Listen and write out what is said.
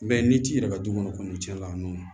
I b'a ye ni ci yɛrɛ ka du kɔnɔ kɔni cɛn na